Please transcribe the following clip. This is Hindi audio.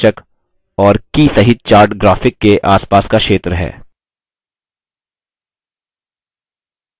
chart क्षेत्र मुख्य शीर्षक और की सहित chart graphic के आसपास का क्षेत्र है